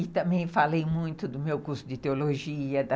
E também falei muito do meu curso de teologia, da